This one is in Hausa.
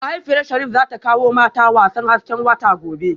Mahaifiyar Sharif zata kawo mata wasan hasken wata gobe